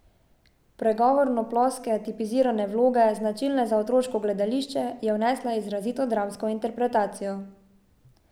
V pregovorno ploske, tipizirane vloge, značilne za otroško gledališče, je vnesla izrazito dramsko interpretacijo.